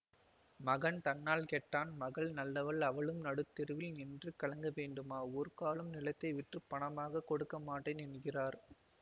மகன் தன்னால் கெட்டான் மகள் நல்லவள் அவளும் நடுதெருவில் நின்று கலங்க வேண்டுமா ஒருக்காலும் நிலத்தை விற்றுப் பணமாகக் கொடுக்கமாட்டேன் என்கிறார்